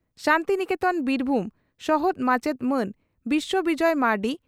ᱥᱟᱱᱛᱤᱱᱤᱠᱮᱛᱚᱱ ᱵᱤᱨᱵᱷᱩᱢ ᱥᱚᱦᱚᱫ ᱢᱟᱪᱮᱛ ᱢᱟᱱ ᱵᱤᱥᱣᱚ ᱵᱤᱡᱚᱭ ᱢᱟᱨᱰᱤ